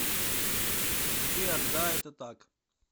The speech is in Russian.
сбер да это так